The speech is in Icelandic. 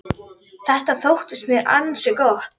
Þetta þótti mér ansi gott.